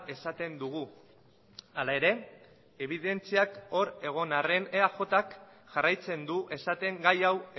esaten dugu hala ere ebidentziak hor egon arren eajk jarraitzen du esaten gai hau